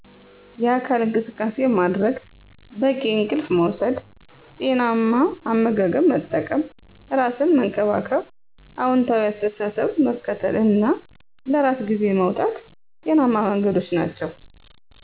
የአካል እንቅሰቃሴ ማድረግ፣ በቂ እንቅልፍ መውሰድ፣ ጤናማ አመጋገብ መጠቀም፣ ራሰን መንከባከብ፣ አውንታዊ አሰተሳሰብ መከተል እና ለራሰ ግዜ ማውጣት ጤናማ መንገዶች ናቸዉ።